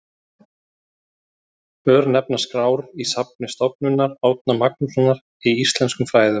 örnefnaskrár í safni stofnunar árna magnússonar í íslenskum fræðum